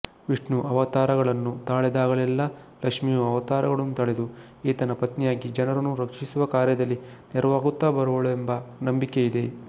ವಿಷ್ಣು ಅವತಾರಗಳನ್ನು ತಾಳಿದಾಗಲ್ಲೆಲ್ಲಾ ಲಕ್ಷ್ಮಿಯೂ ಅವತಾರಗಳನ್ನು ತಳೆದು ಈತನ ಪತ್ನಿಯಾಗಿ ಜನರನ್ನು ರಕ್ಷಿಸುವ ಕಾರ್ಯದಲ್ಲಿ ನೆರವಾಗುತ್ತಾ ಬರುವಳೆಂಬ ನಂಬಿಕೆಯಿದೆ